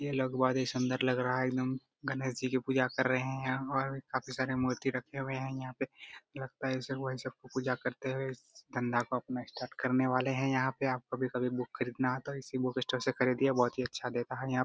यह लगवा रहे हैं सुन्दर लग रहा है एकदम गणेश जी की पूजा कर रहे हैं और काफी सारे मूर्ति रखे हुए है यहाँ पे लगता है पूजा करते हुए इस धंधा को अपना स्टार्ट करने वाले है यहाँ पे कभी-कभी बुक खरीदना है तो इसी बुक स्टोर से ख़रीदए बोहत ही अच्छा देता है यहाँ।